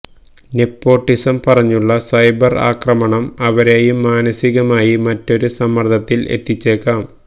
nepotism പറഞ്ഞുള്ള cyber ആക്രമണം അവരെയും മാനസികമായി മറ്റൊരു സമ്മര്ദത്തില് എത്തിച്ചേക്കാം